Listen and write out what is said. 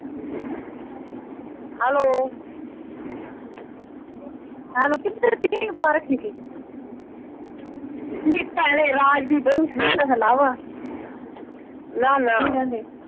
Hello ਹਾਂ ਕਿੱਧਰ . ਨੀ ਭੈਣੇ ਰਾਜ ਦੀ ਬਹੂ ਸੀ ਉਹ ਤਾਂ . ਕੀ ਕਹਿੰਦੀ?